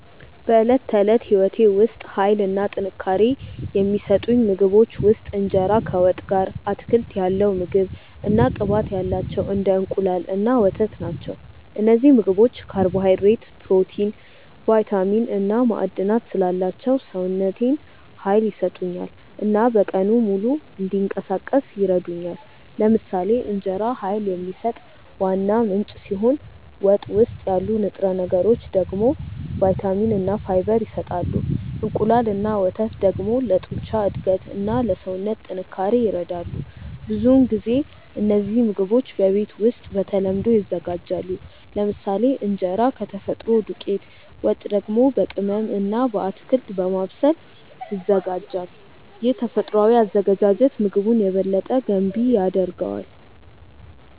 በዕለት ተዕለት ሕይወቴ ውስጥ ኃይል እና ጥንካሬ የሚሰጡኝ ምግቦች ውስጥ እንጀራ ከወጥ ጋር፣ አትክልት ያለው ምግብ እና ቅባት ያላቸው እንደ እንቁላል እና ወተት ናቸው። እነዚህ ምግቦች ካርቦሃይድሬት፣ ፕሮቲን፣ ቫይታሚን እና ማዕድናት ስላላቸው ሰውነቴን ኃይል ይሰጡኛል እና በቀኑ ሙሉ እንዲንቀሳቀስ ይረዱኛል። ለምሳሌ እንጀራ ኃይል የሚሰጥ ዋና ምንጭ ሲሆን ወጥ ውስጥ ያሉ ንጥረ ነገሮች ደግሞ ቫይታሚን እና ፋይበር ይሰጣሉ። እንቁላል እና ወተት ደግሞ ለጡንቻ እድገት እና ለሰውነት ጥንካሬ ይረዳሉ። ብዙውን ጊዜ እነዚህ ምግቦች በቤት ውስጥ በተለምዶ ይዘጋጃሉ፤ ለምሳሌ እንጀራ ከተፈጥሮ ዱቄት፣ ወጥ ደግሞ በቅመም እና በአትክልት በማብሰል ይዘጋጃል። ይህ ተፈጥሯዊ አዘገጃጀት ምግቡን የበለጠ ገንቢ ያደርገዋል።